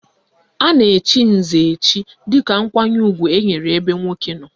A na-echi nze echi dịka nkwanye ugwu enwere ebe nwoke nọ